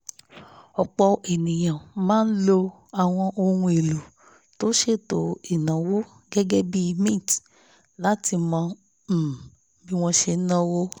ọ̀pọ̀ èèyàn máa lo àwọn ohun èlò tó ṣètò ìnáwó gẹgẹbi mint láti mọ um bí wọ́n ṣe náwó